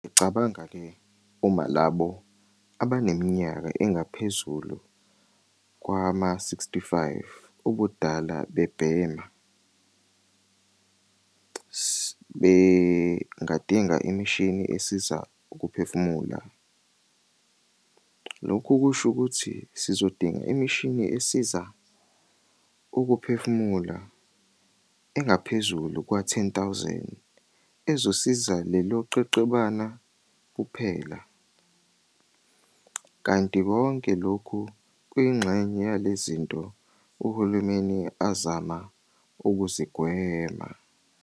Uyacabanga-ke uma labo abaneminyaka engaphezulu kwama-65 ubudala bebhema, bengadinga imishini esiza ukuphefumula. Lokho kusho ukuthi sizodinga imishini esiza ukuphefumula engaphezu kwezi-10 000 ezosiza lelo qeqebana kuphela. Kanti konke lokhu kuyingxenye yalezi zinto uhulumeni azama ukuzigwema.